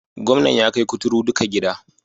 Gwamnan ya kai kuturu duka gida.